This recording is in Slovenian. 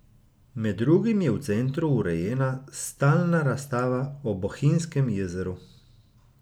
Med drugim je v centru urejena stalna razstava o Bohinjskem jezeru.